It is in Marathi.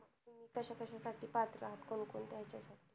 कशाकशाची दाखला कोणकोणत्या ह्याच्यासाठी.